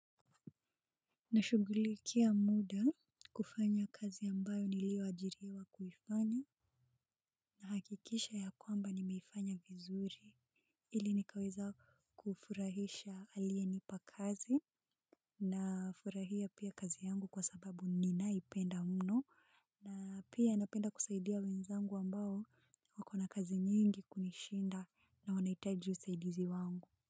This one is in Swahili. Nashughulikia muda kufanya kazi ambayo nilioajiriwa kuifanya. Na hakikisha ya kwamba nimeifanya vizuri ili nikaweza kufurahisha alienipa kazi na furahia pia kazi yangu kwa sababu ninaipenda mno na pia napenda kusaidia wenzangu ambao wako na kazi nyingi kunishinda na wanahitaji usaidizi wangu.